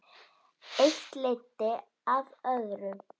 Eitt leiddi af öðru.